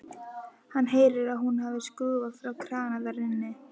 Hann heyrði að hún hafði skrúfað frá krana þar inni.